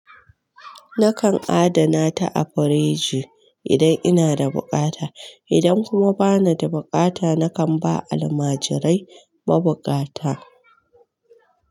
Nakan adana ta a firiji idan ina da buƙata, idan kuma bana da buƙata nakan ba almajirai ma buƙata.